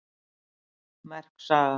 Merk saga